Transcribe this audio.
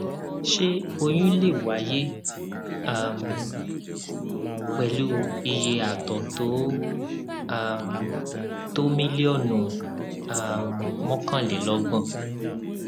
ṣé oyún lè oyún lè wáyé um pẹlú iye àtọ tó um tó mílíọnù um mọkànlelọgbọn